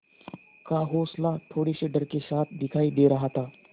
का हौंसला थोड़े से डर के साथ दिखाई दे रहा था